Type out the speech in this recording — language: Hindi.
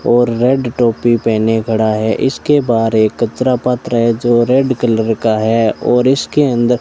और रेड टोपी पहने खड़ा है इसके बाहर एक कचरा पात्र है जो रेड कलर का है और इसके अंदर --